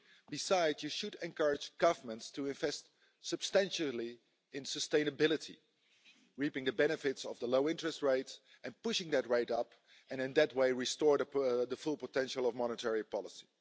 Besides, you should encourage governments to invest substantially in sustainability, reaping the benefits of the low interest rate and pushing that rate upwards, and in that way restore the full potential of monetary policy.